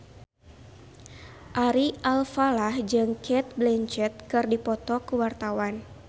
Ari Alfalah jeung Cate Blanchett keur dipoto ku wartawan